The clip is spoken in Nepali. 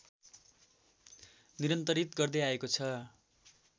निरन्तरित गर्दै आएको छ